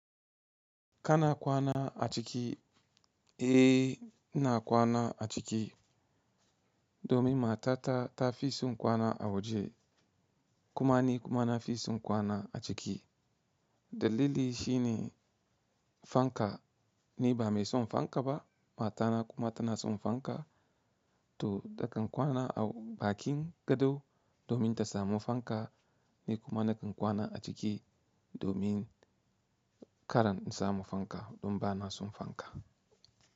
Kana kwana a ciki, eh na kwana a ciki domin matata ta fi son kwana a waje. Kuma ni kuma na fi son kwana a ciki. Dalili shine fanka. Ni ba mai son fankaba matana kuma ta nason fanka to da kan kwana a bakin gado domin ta samu fanka ni kuma na kan kwana a ciki domin karan in samu fanka don ba na son fanka.